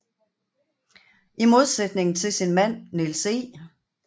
I modsætning til sin mand Niels E